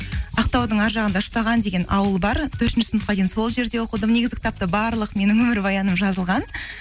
ақтаудың ар жағында үштаған деген ауыл бар төртінші сыныпқа дейін сол жерде оқыдым негізі кітапта барлық менің өмірбаяным жазылған